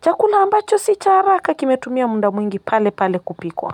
chakula ambacho si cha haraka kimetumia muda mwingi palepale kupikwa.